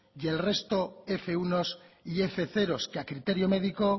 y el resto fminus bats y fminus zeros que a criterio médico